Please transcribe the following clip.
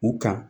U kan